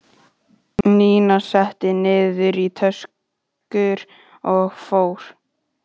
Nína setti niður í töskur og fór.